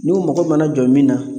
N'u mago mana jɔ min na